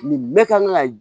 Nin bɛɛ kan ka